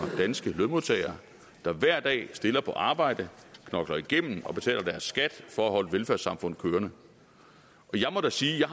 danske lønmodtagere der hver dag stiller på arbejde knokler igennem og betaler deres skat for at holde velfærdssamfundet kørende jeg må da sige at jeg